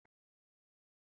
sagði hann lágt.